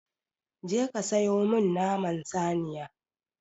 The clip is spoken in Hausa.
Je ka siyo min naman saniya!